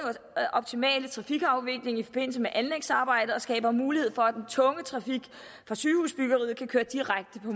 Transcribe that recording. optimale trafikafvikling i forbindelse med anlægsarbejdet og skaber mulighed for at den tunge trafik fra sygehusbyggeriet kan køre direkte på